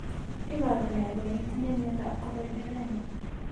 Iporu ne kole itinye miondap Choroideremia?